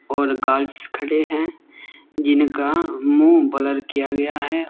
और गार्ड्स खड़े हैं जिनका मुंह ब्लर किया गया हैं।